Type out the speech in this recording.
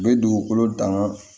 U bɛ dugukolo danga